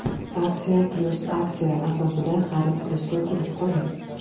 Aksiya + aksiya asosida xarid qilishga ulgurib qoling!